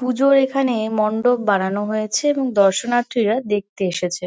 পুজো এখানে মণ্ডপ বানানো হয়েছে এবং দর্শনার্থীরা দেখতে এসেছে